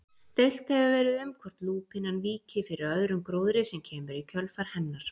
Deilt hefur verið um hvort lúpínan víki fyrir öðrum gróðri sem kemur í kjölfar hennar.